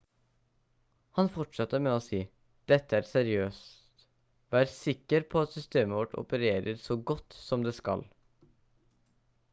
han fortsatte med å si: «dette er seriøst. vær sikker på at systemet vårt opererer så godt som det skal»